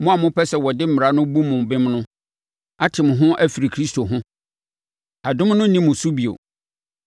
Mo a mopɛ sɛ wɔde Mmara no bu mo bem no ate mo ho afiri Kristo ho. Adom no nni mo so bio.